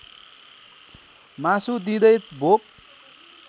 मासु दिँदै भोक